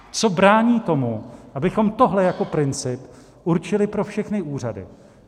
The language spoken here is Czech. Co brání tomu, abychom tohle jako princip určili pro všechny úřady?